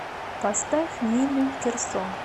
поставь нину кирсо